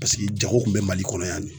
Paseke jago kun bɛ Mali kɔnɔ yan de.